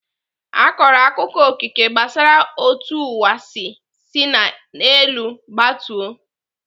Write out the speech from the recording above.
Akọrọ akụkọ Okike gbasara otú ụwa si sina n'elu gbatuo.